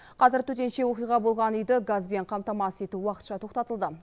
қазір төтенше оқиға болған үйді газбен қамтамасыз ету уақытша тоқтатылды